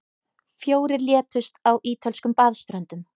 Fjórir létust á ítölskum baðströndum